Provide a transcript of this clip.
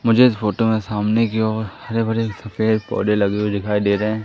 मुझे इस फोटो में सामने की ओर हरे भरे सब पेड़ पौधे लगे हुए दिखाई दे रहे हैं।